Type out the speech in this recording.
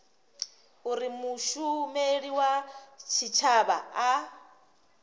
uri mushumeli wa tshitshavha a